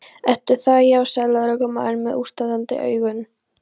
Ertu það, já sagði lögreglumaðurinn með útstandandi augun.